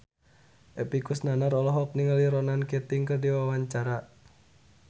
Epy Kusnandar olohok ningali Ronan Keating keur diwawancara